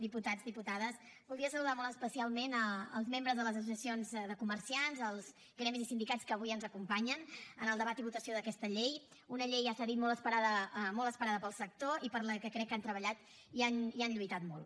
diputats diputades voldria saludar molt especialment els membres de les associacions de comerciants els gremis i sindicats que avui ens acompanyen en el debat i votació d’aquesta llei una llei ja s’ha dit molt esperada pel sector i per la que crec que han treballat i han lluitat molt